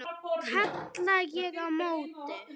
kalla ég á móti.